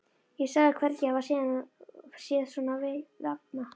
Ég sagðist hvergi hafa séð svona vefnað.